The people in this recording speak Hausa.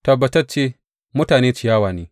Tabbatacce mutane ciyawa ne.